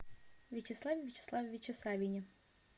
вячеславе вячеславовиче савине